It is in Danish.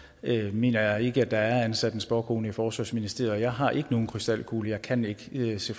mener jeg ikke at der er ansat en spåkone i forsvarsministeriet og jeg har ikke nogen krystalkugle jeg kan ikke se